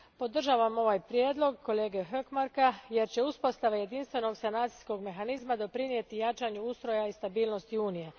Podržavam ovaj prijedlog kolege Hökmarka, jer će uspostava jedinstvenog sanacijskog mehanizma doprinijeti jačanju ustroja i stabilnosti Unije.